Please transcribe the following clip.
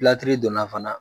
donna fana